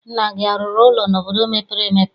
Nna gị arụrụ ụlọ n'obodo mepere emepe?